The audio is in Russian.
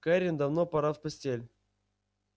кэррин давно пора в постель